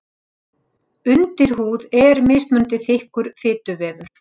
Undirhúð er mismunandi þykkur fituvefur.